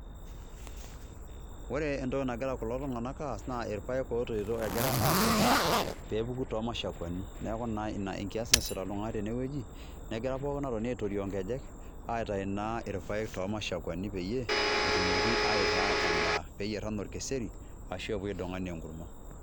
Ore entoki nagira kulo tung'anak aas naa irpaek otoito egira aakes pee epuku too mashakwani. Neeku naa ina enkias naasita kulo tung'anak tene wueji negira pookin atoni aitorioo nkejek aitayu naa irpaek to mashawani peyie etumoki aitaa endaa peeyer enaa orkeseri ashu epuo aidong' ena enkurma.